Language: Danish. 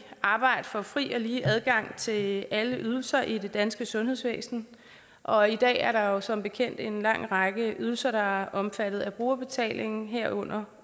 arbejde for fri og lige adgang til alle ydelser i det danske sundhedsvæsen og i dag er der jo som bekendt en lang række ydelser der er omfattet af brugerbetaling herunder